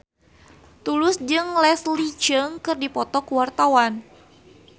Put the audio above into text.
Tulus jeung Leslie Cheung keur dipoto ku wartawan